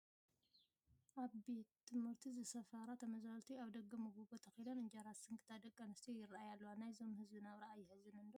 ኣብ ቤት ትምህርቲ ዝሰፈራ ተመዛበልቲ ኣብ ደገ መጐጐ ተኽለን እንጀራ ዝስንክታ ደቂ ኣንስትዮ ይርአያ ኣለዋ፡፡ ናይዞም ህዝቢ ናብራ ኣየሕዝንን ዶ?